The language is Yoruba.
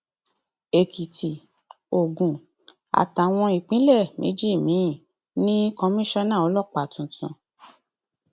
èkìtì ogun àtàwọn ìpínlẹ méjì míín ní kọmísánná ọlọpàá tuntun